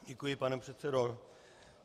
Děkuji, pane předsedo.